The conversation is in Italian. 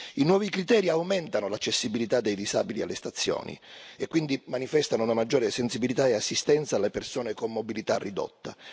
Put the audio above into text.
I nuovi criteri aumentano l'accessibilità dei disabili alle stazioni e quindi manifestano una maggiore sensibilità e assistenza alle persone con mobilità ridotta.